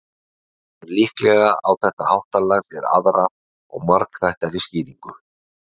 En líklega á þetta háttalag sér aðra og margþættari skýringu.